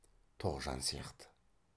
тоғжан сияқты